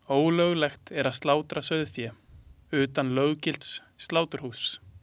Ólöglegt er að slátra sauðfé utan löggilts sláturhúss.